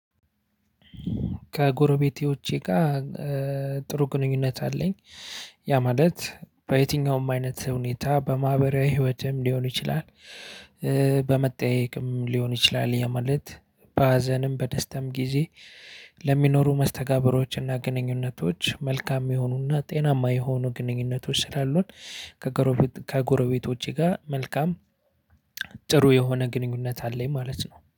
ከጎረቤቴ ውጪ ጋር ጥሩ ግንኙነት አለኝ። ያ ማለት በየትኛውም አይነት ሁኔታ በማህበራዊ ህይወትም ሊሆን ይችላል። በመጠያየቅም ሊሆን ይችላል ያለው ማለት በሀዘንም በደስታም ጊዜ። ለሚኖሩ መስተጋብሮችና ግንኙነቶች መልካም የሆኑና ጤናማ የሆኑ ግንኙነቶች ስላሉን። ከጎረበቶቼ ጋር መልካም ጥሩ የሆነ ግንኙነት አለኝ ማለት ነው